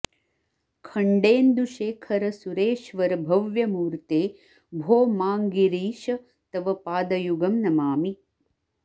खण्डेन्दुशेखर सुरेश्वर भव्यमूर्ते भो माङ्गिरीश तव पादयुगं नमामि